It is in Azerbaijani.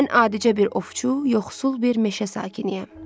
Mən adicə bir ovçu, yoxsul bir meşə sakiniyəm.